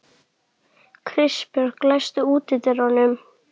Kristbjörg, læstu útidyrunum.